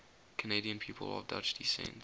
canadian people of dutch descent